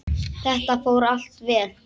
Þetta fór allt vel.